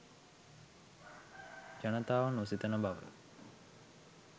ජනතාව නොසිතන බව